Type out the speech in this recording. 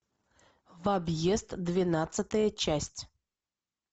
в объезд двенадцатая часть